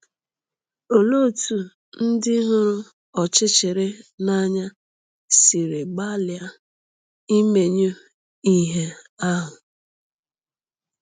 Olee otú ndị hụrụ ọchịchịrị n’anya siri gbalịa imenyụ ìhè ahụ?